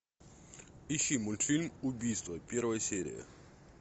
ищи мультфильм убийство первая серия